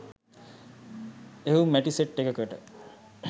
එහෙවු මැටි සෙට් එකකට